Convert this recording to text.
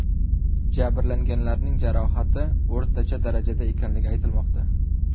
Jabrlanganlarning jarohati o‘rtacha darajada ekanligi aytilmoqda.